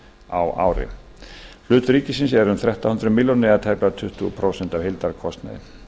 á ári hlutur ríkisins er um þrettán hundruð milljóna króna eða tæplega tuttugu prósent af heildarkostnaði